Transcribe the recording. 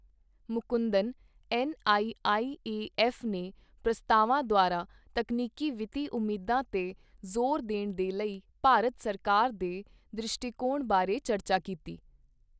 Mukundan, NIIAF ਨੇ ਪ੍ਰਸਤਾਵਾਂ ਦੁਆਰਾ ਤਕਨੀਕੀ ਵਿੱਤੀ ਉਮੀਦਾਂ ਤੇ ਜ਼ੋਰ ਦੇਣ ਦੇ ਲਈ ਭਾਰਤ ਸਰਕਾਰ ਦੇ ਦ੍ਰਿਸ਼ਟੀਕੋਣ ਬਾਰੇ ਚਰਚਾ ਕੀਤੀ।